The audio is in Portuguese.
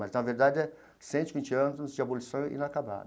Mas, na verdade, é Cento e Vinte anos de Abolição Inacabada.